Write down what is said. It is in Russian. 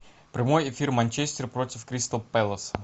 прямой эфир манчестер против кристал пэласа